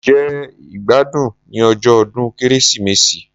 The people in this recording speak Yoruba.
Mo jẹ ìgbádùn ní ọjọ́ ọdún Kérésìmesì